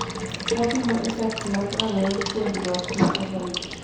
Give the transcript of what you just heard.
Wapimo effects mag rangi'ny puonjruok ma average.